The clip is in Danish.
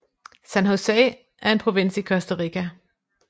San José er en provins i Costa Rica